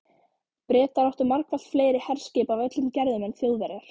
Bretar áttu margfalt fleiri herskip af öllum gerðum en Þjóðverjar.